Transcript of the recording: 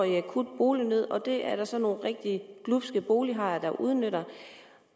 i akut bolignød og det er der så nogle rigtig glubske bolighajer der udnytter